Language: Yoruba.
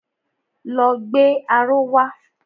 Lọ gbé aró wa!